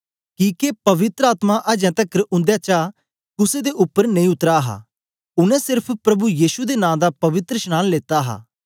किके पवित्र आत्मा अजें तकर उंदेचा कुसे दे उपर नेई उतरा हा उनै सेर्फ प्रभु यीशु दे नां दा पवित्रशनांन लेता हा